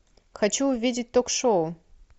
хочу увидеть ток шоу